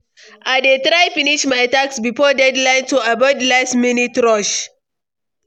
I dey try finish my tasks before deadline to avoid last-minute rush.